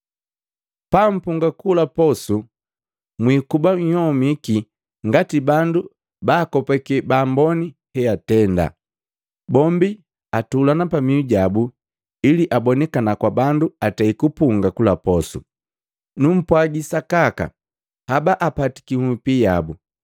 “Pampunga kula posu, mwiikuba nhyomiki ngati bandu baakopake baamboni heatenda. Bombi atulana pamihu jabu ili abonikana kwa bandu atei kupunga kula posu. Numpwagi sakaka, haba apatiki hupi yabu.